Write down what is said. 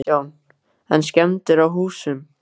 Kristján: En skemmdir á húsum?